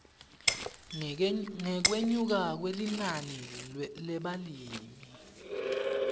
ngekwenyuka kwelinani lebalimi